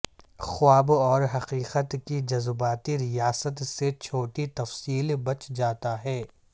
خواب اور حقیقت کی جذباتی ریاست سے چھوٹی تفصیل بچ جاتا ہے